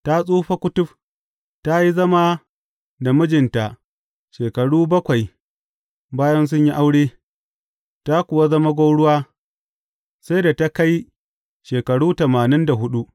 Ta tsufa kutuf; ta yi zama da mijinta shekaru bakwai bayan sun yi aure, ta kuwa zama gwauruwa sai da ta kai shekaru tamanin da huɗu.